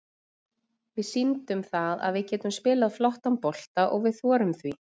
Við sýndum það að við getum spilað flottan bolta og við þorðum því.